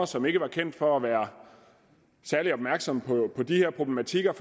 som ikke var kendt for at være særlig opmærksom på de her problematikker